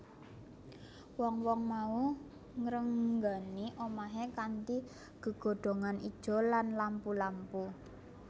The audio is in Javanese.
Wong wong mau ngrenggani omahe kanthi gegodhongan ijo lan lampu lampu